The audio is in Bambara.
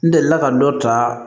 N delila ka dɔ ta